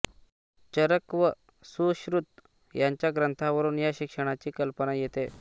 चरक व सुश्रुत यांच्या ग्रंथांवरून या शिक्षणाची कल्पना येते